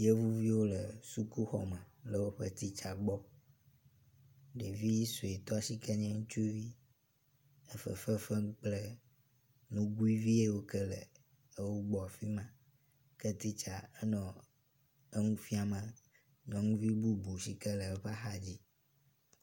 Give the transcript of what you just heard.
Yevuviwo le sukuxɔ me le woƒe titsa gbɔ. Ɖevi suetɔ si ke nye ŋutsuvi le fefe fem kple nugui viwo yi ke le wo gbɔ afi ma ke titsa enɔ nu bubu fiam nyɔnuvi bubu si ke le eƒe axadzi.